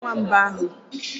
Onye nwee nwamba ahụ?